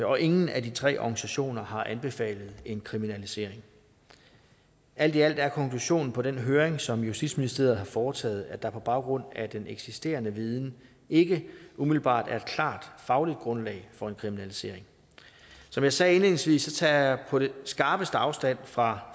og ingen af de tre organisationer har anbefalet en kriminalisering alt i alt er konklusionen på den høring som justitsministeriet har foretaget at der på baggrund af den eksisterende viden ikke umiddelbart er et klart fagligt grundlag for en kriminalisering som jeg sagde indledningsvis tager jeg på det skarpeste afstand fra